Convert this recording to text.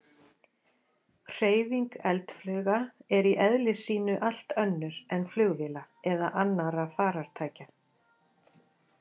Hreyfing eldflauga er í eðli sínu allt önnur en flugvéla eða annarra farartækja.